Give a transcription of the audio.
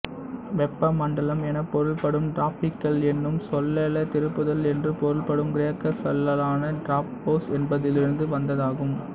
வெப்ப மண்டலம் எனப் பொருள்படும் டிராப்பிகல் என்னும் சொல்லே திருப்புதல் என்று பொருள்படும் கிரேக்கச் சொல்லான டிராப்போஸ் என்பதிலிருந்து வந்ததாகும்